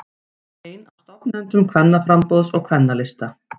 Einn af stofnendum Kvennaframboðs og Kvennalista